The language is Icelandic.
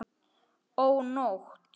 Ó, nótt!